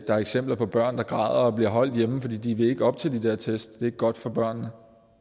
er eksempler på børn der græder og bliver holdt hjemme fordi de ikke vil op til de der test det godt for børnene